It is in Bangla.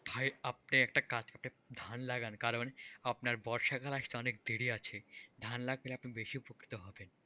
ভাই আপনি একটা কাজ করেন, ধান লাগান কারণ আপনার বর্ষাকাল আসতে অনেক দেরি আছে, ধান লাগালে আপনি বেশি উপকৃত হবেন,